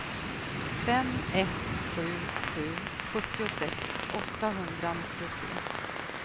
fem ett sju sju sjuttiosex åttahundranittiotre